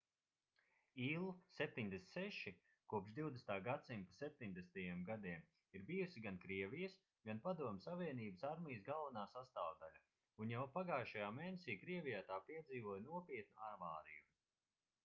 il-76 kopš 20. gadsimta 70. gadiem ir bijusi gan krievijas gan padomju savienības armijas galvenā sastāvdaļa un jau pagājušajā mēnesī krievijā tā piedzīvoja nopietnu avāriju